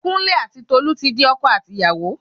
Kúnlé ati Tolu ti di ọkọ àti ìyàwó